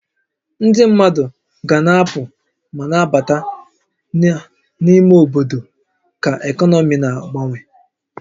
Ndị mmadụ ga-na apụ ma na-abata na n'ime obodo ka ekọnọmi na-agbanwe